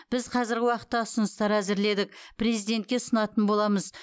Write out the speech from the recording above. біз қазіргі уақытта ұсыныстар әзірледік президентке ұсынатын боламыз